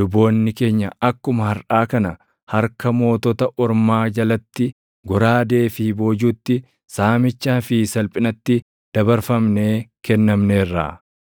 luboonni keenya akkuma harʼaa kana harka mootota ormaa jalatti goraadee fi boojuutti, saamichaa fi salphinatti dabarfamnee kennamneerra.